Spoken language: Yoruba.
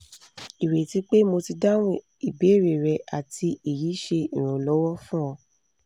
ireti pe mo ti dahum ibere re ati eyi se iranlowo fun o